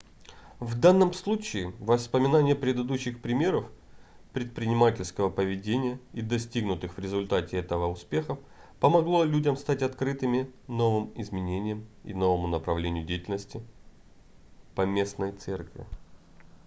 в данном случае вспоминание предыдущих примеров предпринимательского поведения и достигнутых в результате этого успехов помогло людям стать открытыми новым изменениям и новому направлению деятельности поместной церкви